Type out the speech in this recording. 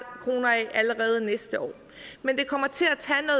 kroner af allerede næste år men det kommer til